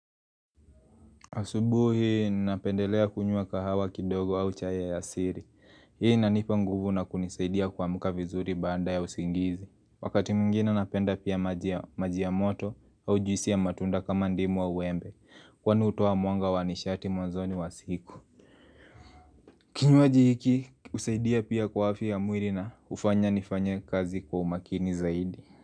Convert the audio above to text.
Asubuhi napendelea kunyua kahawa kidogo au chai ya asiri, hii nanipa nguvu na kunisaidia kuamuka vizuri baada ya usingizi Wakati mwingine napenda pia majia moto au juisi ya matunda kama ndimu wa uembe kwa nuutoa mwanga wanishati mwanzoni wa siku Kinyuaji hiki husaidia pia kwa afya ya mwili na ufanya nifanya kazi kwa umakini zaidi.